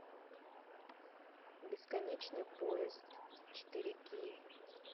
бесконечный поезд четыре кей